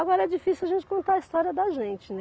Agora é difícil a gente contar a história da gente, né.